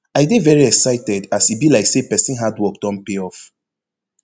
i dey veri excited as e be like say pesin hard work don pay off